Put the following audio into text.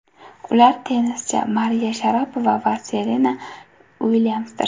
Ular tennischi Mariya Sharapova va Serena Uilyamsdir.